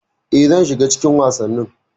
E, zan shiga cikin wasannin.